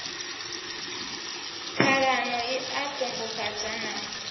ṱhalano i a ṱungufhadza na